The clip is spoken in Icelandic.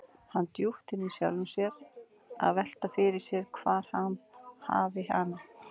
Hann djúpt inni í sjálfum sér að velta því fyrir sér hvar hann hafi hana.